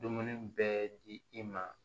Dumuni bɛɛ di i ma